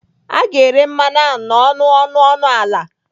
A ga-ere mmanụ ahụ n'ọnụ ọnụ ọnụ ala.